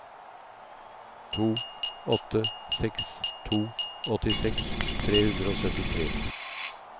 to åtte seks to åttiseks tre hundre og syttitre